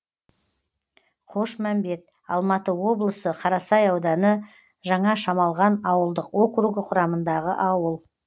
қошмәмбет алматы облысы қарасай ауданы жаңашамалған ауылдық округі құрамындағы ауыл